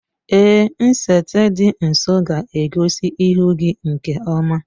Èé, nsete dị nso ga-egosi ihu gị nke ọma.